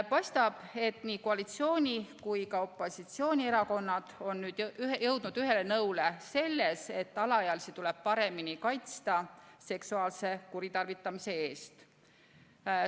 Paistab, et koalitsiooni- ja opositsioonierakonnad on jõudnud ühele nõule selles, et alaealisi tuleb paremini kaitsta seksuaalse kuritarvitamise eest.